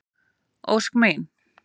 Ósk mín.